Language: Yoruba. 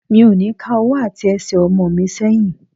Mi ò ní ká ọwọ́ àti Ẹsẹ̀ ọmọ mi sẹ́yìn.